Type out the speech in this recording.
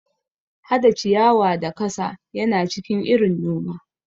Hada ciyawa da kasa yana cikin irin noma.